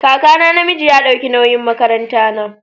Kakana na miji ya dauki nawyin makaran ta na.